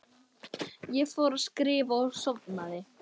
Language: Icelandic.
Svo fór ég að skrifa og sofnaði.